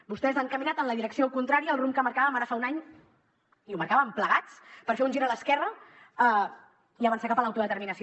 vostès han caminat en la direcció contrària al rumb que marcàvem ara fa un any i el marcàvem plegats per fer un gir a l’esquerra i avançar cap a l’autodeterminació